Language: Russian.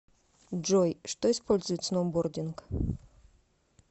джой что использует сноубординг